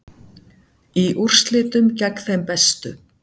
Í úrslitum gegn þeim bestu